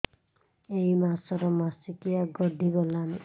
ଏଇ ମାସ ର ମାସିକିଆ ଗଡି ଗଲାଣି